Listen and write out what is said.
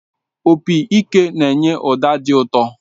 Opị ike na-enye ụda dị ụtọ